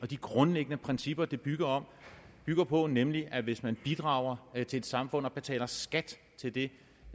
de grundlæggende principper den bygger bygger på nemlig at hvis man bidrager til et samfund og betaler skat til det